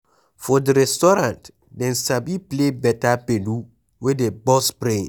For di restaurant Dem sabi play better gbedu wey dey burst brain